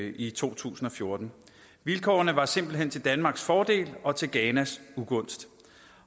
i to tusind og fjorten vilkårene var simpelt hen til danmarks fordel og til ghanas ugunst